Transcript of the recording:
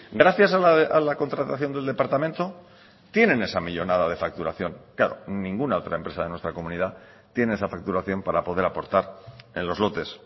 gracias a la contratación del departamento tienen esa millónada de facturación claro ninguna otra empresa de nuestra comunidad tiene esa facturación para poder aportar en los lotes